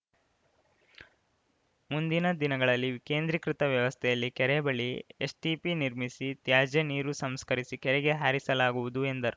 ಮುಂದಿನ ದಿನಗಳಲ್ಲಿ ವಿಕೇಂದ್ರಿಕೃತ ವ್ಯವಸ್ಥೆಯಲ್ಲಿ ಕೆರೆ ಬಳಿ ಎಸ್‌ಟಿಪಿ ನಿರ್ಮಿಸಿ ತ್ಯಾಜ್ಯ ನೀರು ಸಂಸ್ಕರಿಸಿ ಕೆರೆಗೆ ಹಾರಿಸಲಾಗುವುದು ಎಂದರು